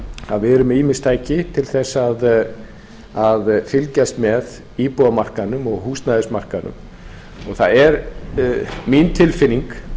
að við erum með ýmis tæki til þess að fylgjast með íbúðamarkaðnum og húsnæðismarkaðnum og það er mín tilfinning